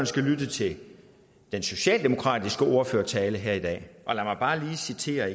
skulle lytte til den socialdemokratiske ordførertale her i dag og lad mig bare lige citere